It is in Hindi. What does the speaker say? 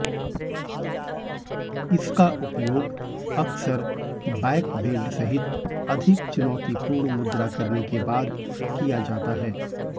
इसका उपयोग अक्सर बैकबेंड सहित अधिक चुनौतीपूर्ण मुद्रा करने के बाद किया जाता है